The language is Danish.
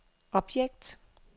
objekt